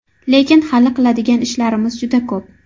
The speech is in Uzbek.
Lekin hali qiladigan ishlarimiz juda ko‘p.